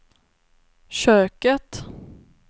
köket